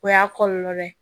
O y'a kɔlɔlɔ dɔ ye